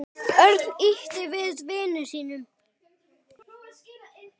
Örn ýtti við vini sínum.